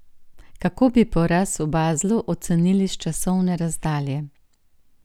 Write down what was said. Kako bi poraz v Baslu ocenili s časovne razdalje?